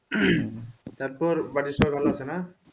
তাইতো উম তারপর বাড়ির সবাই ভালো আছে না?